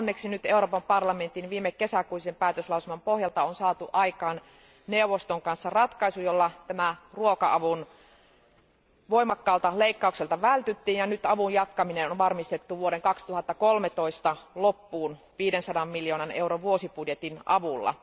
Onneksi Euroopan parlamentin viime kesäkuisen päätöslauselman pohjalta on nyt saatu aikaan neuvoston kanssa ratkaisu, jolla tältä ruoka avun voimakkaalta leikkaukselta vältyttiin, ja nyt avun jatkaminen on varmistettu vuoden 2013 loppuun 500 miljoonan euron vuosibudjetin avulla.